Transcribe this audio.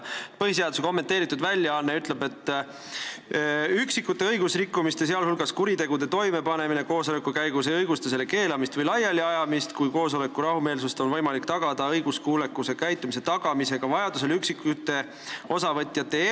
" Põhiseaduse kommenteeritud väljaanne ütleb nii: "Üksikute õigusrikkumiste, sh kuritegude toimepanemine koosoleku käigus ei õigusta selle keelamist või laialiajamist, kui koosoleku rahumeelsust on võimalik tagada ka õiguskuuleka käitumise tagamisega, sh vajadusel üksikute osavõtjate eemaldamisega.